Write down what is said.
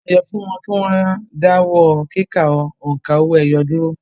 Wọ́n pàṣẹ fún wọn kí wọ́n dáwọ́ kíkà òǹkà owó-ẹyọ dúró